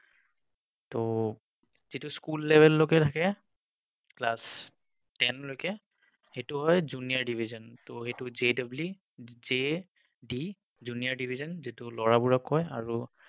ত যিটো school level লৈকে থাকে, class ten লৈকে, সেইটো হয় junior division । ত এইটো JW, JD junior division, এইটো লৰাবোৰক কয় আৰু